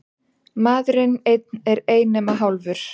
Maðurinn einn er ei nema hálfur.